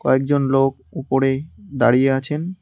কয়েকজন লোক উপরে দাঁড়িয়ে আছেন।